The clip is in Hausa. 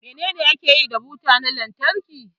Menene ake yi da buta na lantarki?